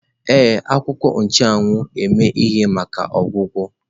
Ee, a akwuko nchuawu eme ihe maka ọgwụgwọ.